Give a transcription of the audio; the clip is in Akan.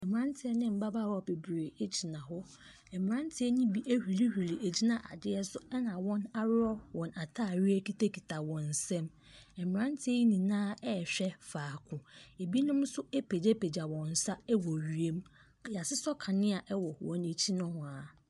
Merateɛ ne mmabaawa bebree gyina hɔ. Mmeranteɛ no bi ahurihuri agyina adeɛ so, ɛna wɔaworɔ wɔn atadeɛ kitakita wɔn nsam. Mmeranteɛ yi nyinaa rehwɛ faako. Ɛbinom nsoa apagyapagya wɔn nsa wɔ wiem. Wɔasosɔ kanea wɔ wɔn akyi nohoa.